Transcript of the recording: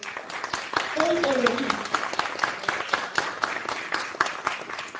Þau eru rík.